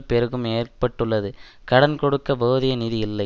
பெருகம் ஏற்பட்டுள்ளது கடன் கொடுக்க போதிய நிதி இல்லை